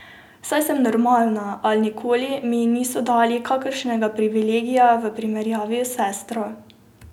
Saj sem normalna, a nikoli mi niso dali kakšnega privilegija v primerjavi s sestro.